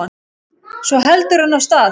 Svo heldur hann af stað.